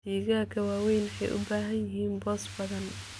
Digaagga waaweyni waxay u baahan yihiin boos badan.